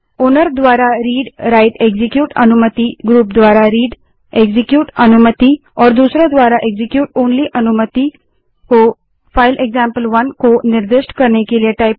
owner मालिक द्वारा read write execute अनुमतिग्रुप द्वारा readएक्जीक्यूट अनुमति और दूसरों द्वारा execute ओनली अनुमति को फाइल एक्जाम्पल1 को निर्दिष्ट करने के लिए